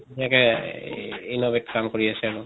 innovate কাম কৰি আছে আৰু।